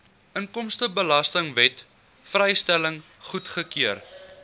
inkomstebelastingwet vrystelling goedgekeur